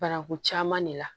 Bananku caman de la